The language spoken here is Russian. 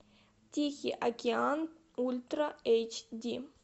тихий океан ультра эйч ди